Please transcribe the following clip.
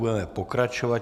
Budeme pokračovat.